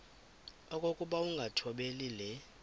okokuba ukungathobeli le